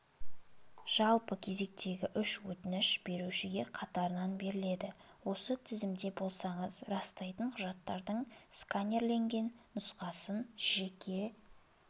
жалпы кезектегі үш өтініш берушіге қатарынан беріледі осы тізімде болсаңыз растайтын құжаттардың сканерленген нұсқасын жеке